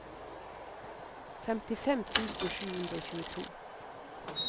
femtifem tusen sju hundre og tjueto